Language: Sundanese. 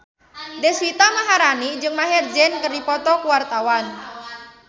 Deswita Maharani jeung Maher Zein keur dipoto ku wartawan